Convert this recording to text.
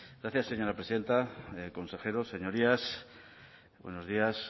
gracias señora presidenta consejeros señorías buenos días